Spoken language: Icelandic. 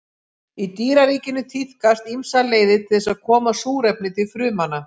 Í dýraríkinu tíðkast ýmsar leiðir til þess að koma súrefni til frumna.